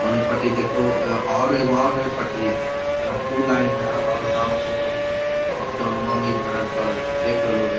औने पटी देख और एगो और है पटरी यहाँ टू लाइन है अप और डाउन दोनों अप डाउनवा में इ भरल पड़ल है देख रहलो हे |